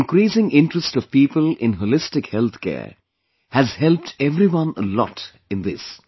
The increasing interest of people in Holistic Healthcare has helped everyone a lot in this